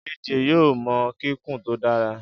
JayJay yoo mọ kikun to dara.